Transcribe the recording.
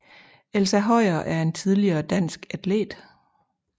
Elsa Høyer er en tidligere dansk atlet